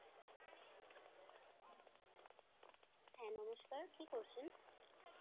হ্যাঁ নমস্কার, কি করছেন?